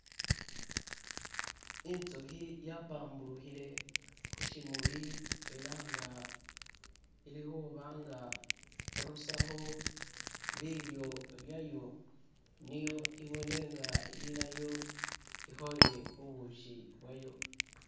itsuhi yapamburuhile hushimuli ela nga ilihubanga irusaho bilyo byayo niyo ibone nga ilayo ihole bubushi bwayo